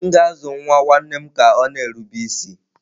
M ga-azụ nwa nwanne m ka ọ na-erube isi.